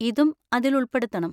ഇതും അതിൽ ഉൾപ്പെടുത്തണം.